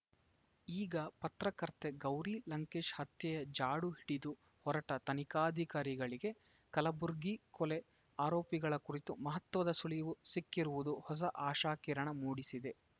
ಈಗ ಪತ್ರಕರ್ತೆ ಗೌರಿ ಲಂಕೇಶ್‌ ಹತ್ಯೆಯ ಜಾಡು ಹಿಡಿದು ಹೊರಟ ತನಿಖಾಧಿಕಾರಿಗಳಿಗೆ ಕಲಬುರ್ಗಿ ಕೊಲೆ ಆರೋಪಿಗಳ ಕುರಿತು ಮಹತ್ವದ ಸುಳಿವು ಸಿಕ್ಕಿರುವುದು ಹೊಸ ಆಶಾಕಿರಣ ಮೂಡಿಸಿದೆ